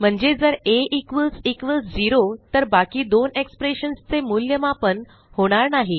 म्हणजे जर आ झेरो तर बाकी दोन एक्सप्रेशन्स चे मूल्यमापन होणार नाही